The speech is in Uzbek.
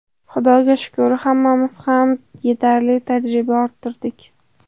Xudoga shukur, hammamiz ham yetarli tajriba orttirdik.